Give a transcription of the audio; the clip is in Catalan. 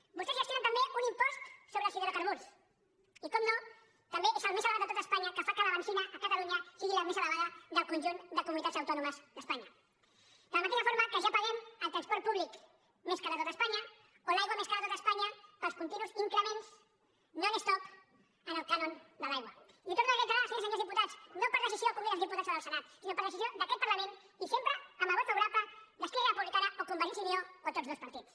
vostès gestionen també un impost sobre els hidrocarburs i evidentment també és el més elevat de tot espanya que fa que la benzina a catalunya sigui la més elevada del conjunt de comunitats autònomes d’espanya de la mateixa forma que ja paguem el transport públic més car de tot espanya o l’aigua més cara de tot espanya pels continus increments non stoptorno a reiterar senyores i senyors diputats no per decisió del congrés dels diputats o del senat sinó per decisió d’aquest parlament i sempre amb el vot favorable d’esquerra republicana o convergència i unió o tots dos partits